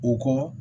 U kɔ